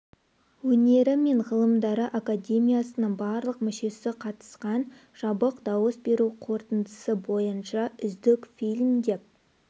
өнері мен ғылымдары академиясының барлық мүшесі қатысқан жабық дауыс беру қорытындысы бойынша үздік фильм деп